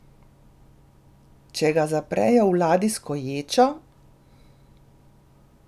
Če ga zaprejo v ladijsko ječo?